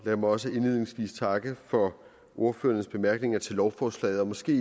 lad mig også indledningsvis takke for ordførernes bemærkninger til lovforslaget og måske